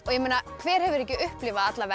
hver hefur ekki upplifað